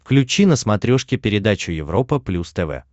включи на смотрешке передачу европа плюс тв